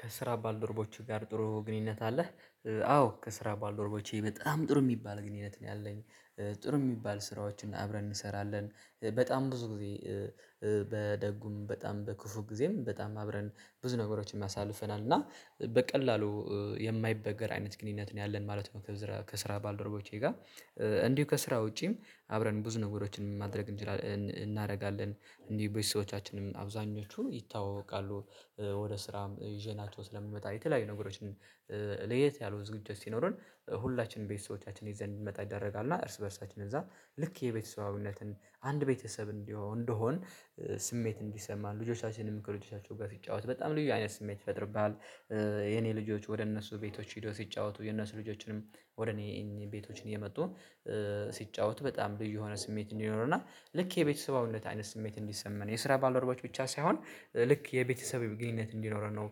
ከስራ ባልደረቦችህ ጋር ጥሩ ግንኙነት አለህ? አዎ ከስራ ባልደረቦቼ በጣም ጥሩ የሚባል ግንኙነት ነው ያለኝ። ከስራ ባልደረቦችህ ጋር ጥሩ ግንኙነት አለህ? በደጉም በጣም በክፉ ጊዜም በጣም አብረን ብዙ ነገሮችን አሳልፈናል እና በቀላሉ የማይበገር አይነት ግንኙነት ነው ያለን ማለት ነው። ከስራ ከስራ ባልደረቦቼ ጋር እንዲሁ ከስራ ውጪም አብረን ብዙ ነገሮችን ማድረግ እናደርጋለን። እንዲህ ቤሰቦቻችንም አብዛኞቹ ይታወቃሉ። ወደ ስራም ይዤ ናቸው ስለሚመጣ የተለያዩ ነገሮችን ለየት ያሉ ዝግጅት ሲኖረን ሁላችንም ቤተሰቦቻችን ይዘን የሚመጣ ይደረጋል። እና እርስ በእርሳችንን እዛ ልክ የቤተሰባዊነትን አንድ ቤተሰብ እንዲሆን እንደሆን ስሜት እንዲሰማ ልጆቻችንም ከልጆቻችሁ ጋር ሲጫወት በጣም ልዩ አይነት ስሜት ይፈጥርብሃል። የኔ ልጆች ወደ እነሱ ቤቶች ሄዶ ሲጫወቱ የነሱ ልጆችንም ወደ እኔ እኔ ቤቶችን እየመጡ ሲጫወት በጣም ብዬ የሆነ ስሜት እንዲኖረና ልክ የቤተሰባዊነት አይነት ስሜት እንዲሰማን የስራ ባለረቦች ብቻ ሳይሆን ልክ የቤተሰብ ግንኙነት እንዲኖረን ነው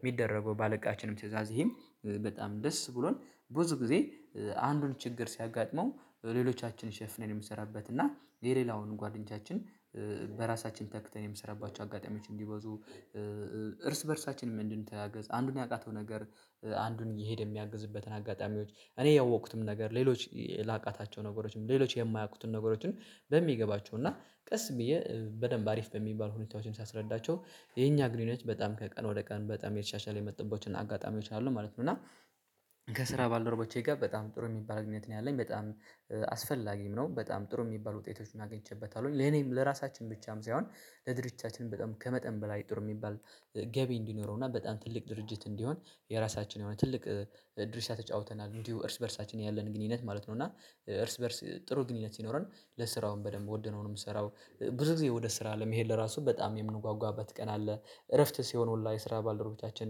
የሚደረገው ባለቃችንም ትእዛዝ ይሄም በጣም ደስ ብሎን ብዙ ጊዜ አንዱን ችግር ሲያጋጥመው ሌሎቻችን ሸፍኔ ነው የምሰራበት እና የሌላውን ጓደኞቻችን በራሳችን ተክተን የምሰራባቸው አጋጣሚዎች እንዲበዙ እርስ በእርሳችን እንድንተገዝ አንዱን ያቃተው ነገር፣ አንዱን እየሄደ የሚያግዝበትን አጋጣሚዎች፣ እኔ ያወቅኩትም ነገር ሌሎች ላቃታቸው ነገሮችም ሌሎች የማያውቁትን ነገሮችን በሚገባቸው እና ቀስ ብዬ በደንብ አሪፍ በሚባል ሁለታዎችን ሳስረዳቸው የኛ ግንኙነት በጣም ከቀን ወደ ቀን በጣም የተሻሻለ የመጡበት አጋጣሚዎች አሉ ማለት ነው። እና ከስራ ባልደረቦቼ ጋር በጣም ጥሩ የሚባል ግንኙት ነው ያለኝ። በጣም አስፈላጊም ነው። በጣም ጥሩ የሚባሉ ውጤቶችን አግኝቼበታለሁኝ። ለኔም ለራሳችን ብቻም ሳይሆን ለድርጅቻችን በጣም ከመጠን በላይ ጥሩ የሚባል ገቢ እንዲኖረው። እና በጣም ትልቅ ድርጅት እንዲሆን የራሳችን የሆነ ትልቅ ድርሻ ተጫውተናል። እንዲሁ እርስ በእርሳችን ያለን ግንኙነት ማለት ነው። እና እርስ በእርስ ጥሩ ግንኙነት ሲኖረን ለስራውም በደንብ ወደነውም ስራው ብዙ ጊዜ ወደ ስራ ለመሄድ ለራሱ በጣም የምንጓጓበት ቀን አለ እረፍት ሲሆን ኦንላይን ስራ ባልደረጎቻችን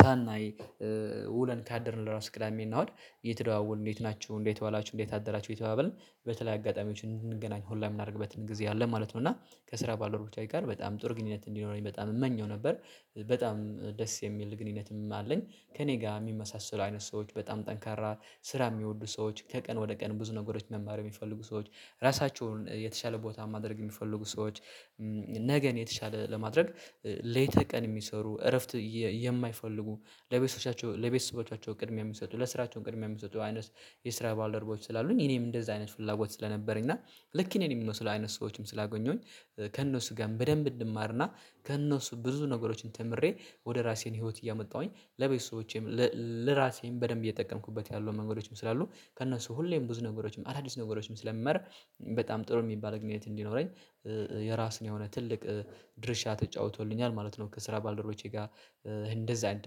ሳናይ ውለን ካደርን ለራሱ ቅዳሜ እና እሁድ የተደዋወል እንዴት ናችሁ? እንዴት ዋላችሁ? እንዴት አደራችሁ? እየተባባልን በተለይ አጋጣሚዎችን እንገናኝ ኮላ የምናደርግበትን ጊዜ አለ ማለት ነው። እና ከስራ ባልደረቦቼ ጋር በጣም ጥር ግንኙነት እንዲኖረኝ በጣም እመኘው ነበር። በጣም ደስ የሚል ግንኙነትም አለኝ። ከእኔ ጋር የሚመሳሰሉ አይነት ሰዎች፣ በጣም ጠንካራ ስራ የሚወዱ ሰዎች፣ ከቀን ወደ ቀን ብዙ ነገሮች መማር የሚፈልጉ ሰዎች፣ ራሳቸውን የተሻለ ቦታ ማድረግ የሚፈልጉ ሰዎች፣ ነገ የተሻለ ለማድረግ ሌተ ቀን የሚሰሩ እረፍት የማይፈልጉ ለቤተሰቦቻቸው ለቤተሰቦቻቸው ቅድሚያ የሚሰጡ ለስራቸው ቅድሚያ የምንሰጠው አይነት የስራ ባልደረቦች ስላሉኝ እኔም እንደዛ አይነት ፍላጎት ስለነበረኝ እና ልክ እኔ የሚለው ስለ አይነት ሰዎችም ስላገኘሁኝ ከእነሱ ጋር በደንብ እንማርና ከእነሱ ብዙ ነገሮችን ተምሬ ወደ ራሴን ህይወት እያመጣሁኝ ለቤተሰቦቼም ለራሴም በደንብ እየጠቀምኩበት ያለው መንገዶችም ስላሉ ከእነሱ ሁሌም ብዙ ነገሮችም አዳዲስ ነገሮችም ስለምመር በጣም ጥሩ የሚባል ግንኙነት እንዲኖረኝ የራሱን የሆነ ትልቅ ድርሻ ተጫውቶልኛል። ማለት ነው። ከስራ ባልደረቦቼ ጋር እንደዛ አይነት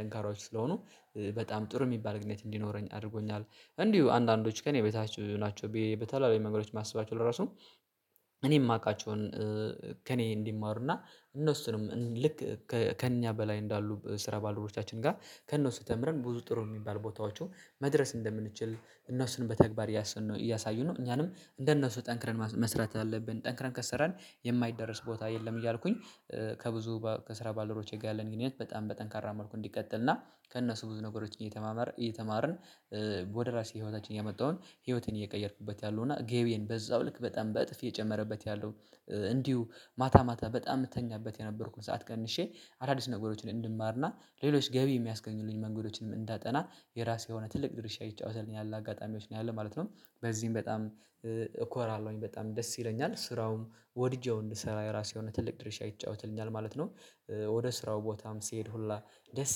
ጠንካራዎች ስለሆኑ በጣም ጥሩ የሚባል ግኑኙነት እንዲኖረኝ አድርጎኛል። እንዲሁ አንዳንዶች ከእኔ በታች ናቸው። በተለይ መንገዶች ማስባቸው ለራሱ እኔ የማውቃቸውን ከእኔ እንዲማሩና እነሱንም ልክ ከእኛ በላይ እንዳሉ ስራ ባልደረቦቻችን ጋር ከእነሱ ተምረን ብዙ ጥሩ የሚባል ቦታዎቹ መድረስ እንደምንችል እነሱንም በተግባር እያሳዩ ነው እኛንም እንደነሱ ጠንክረን መስራት ያለብን ጠንክረን ከሰራን የማይደረስ ቦታ የለም እያልኩኝ ከብዙ ከስራ ባልደረቦቼ ጋር ያለን ግንኙነት በጣም በጠንካራ መልኩ እንዲቀጥልና ከእነሱ ብዙ ነገሮች እየተማመር እየተማርን ወደ ራሴ ህይወታችን ያመጣውን ህይወትን እየቀየርኩበት ያለው እና ገቤን በዛው ልክ በጣም በእጥፍ የጨመረበት ያለው እንዲሁ ማታ ማታ በጣም የምትተኛበት የነበርኩኝ ሰዓት ቀንሼ አዳዲስ ነገሮችን እንድማርና፣ ሌሎች ገቢ የሚያስገኙልኝ መንገዶችንም እንዳጠና፣ የራሴ የሆነ ትልቅ ድርሻ ይጫወታል ያለ አጋጣሚዎች ነው ያለ ማለት ነው በዚህም በጣም እኮራለሁኝ በጣም ደስ ይለኛል ስራውም ወድጄ እንድሰራ የራሴ የሆነ ትልቅ ድርሻ ይጫወትልኛል ማለት ነው። ወደ ስራው ቦታም ሲሄድ ሁላ ደስ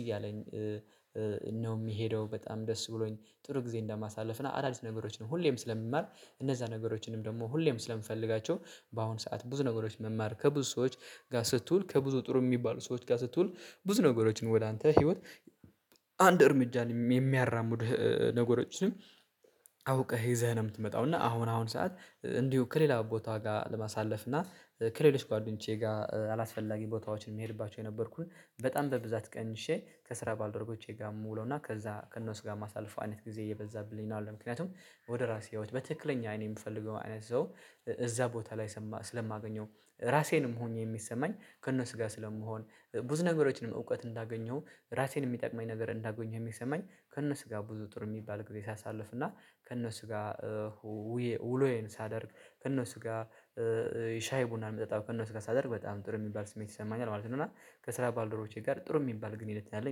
እያለኝ ነው የሚሄደው በጣም ደስ ብሎኝ ጥሩ ጊዜ እንደማሳልፍ እና አዳዲስ ነገሮችን ሁሌም ስለሚማር እነዛ ነገሮችንም ደግሞ ሁሌም ስለምፈልጋቸው በአሁን ሰዓት ብዙ ነገሮች መማር ከብዙ ሰዎች ጋር ስትውል ከብዙ ጥሩ የሚባሉ ሰዎች ጋር ስትውል ብዙ ነገሮችን ወደ አንተ ህይወት አንድ እርምጃ የሚያራምድ ነገሮችም አውቀህ ይዘህ ነው የምትመጣው እና አሁን አሁን ሰዓት እንዲሁ ከሌላ ቦታ ጋር ለማሳለፍ እና ከሌሎች ጓደኞቼ ጋር አላስፈላጊ ቦታዎችን የሚሄድባቸው የነበርኩን በጣም በብዛት ቀንሼ ከስራ ባልደረቦቼ ጋር የምውለው እና ከዛ ከእነሱ ጋር ማሳለፍ አይነት ጊዜ እየበዛብልኝ ነው። ምክንያቱም ወደ ራሴ ህይወት በትክክለኛ እኔ የምፈልገው አይነት ሰው እዛ ቦታ ላይ ስለማገኘው ራሴንም ሆኜ የሚሰማኝ ከእነሱ ጋር ስለመሆን፣ ብዙ ነገሮችንም እውቀት እንዳገኘሁ ራሴን የሚጠቅመኝ ነገር እንዳገኘሁ፣ የሚሰማኝ ከእነሱ ጋር ብዙ ጥሩ የሚባል ጊዜ ሳሳልፍ እና፣ ከእነሱ ጋር ውሎዬን ሳደርግ ከእነሱ ጋር፣ ሻይ ቡና መጠጣው ከእነሱ ጋር ሳደርግ በጣም ጥሩ የሚባል ስሜት ይሰማኛል። ማለት ነው እና ከስራ ባልደረቦቼ ጋር ጥሩ የሚባል ግንኙነት አለኝ